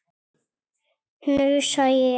hnussa ég.